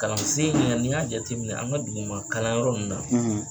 Kalansen ɲɛ ni y'a jateminɛ an ka duguma kalanyɔrɔ minnu na,